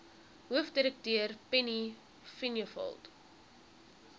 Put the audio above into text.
hoofdirekteur penny vinjevold